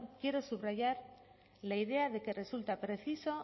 quiero subrayar la idea de que resulta preciso